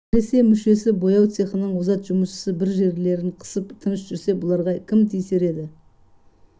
әсіресе мүшесі бояу цехының озат жұмысшысы бір жерлерін қысып тыныш жүрсе бұларға кім тиісер еді